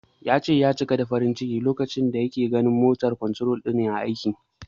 Ya ce, ya cika da farin ciki lokacin da yake ganin yanda "motor control" din yake aiki.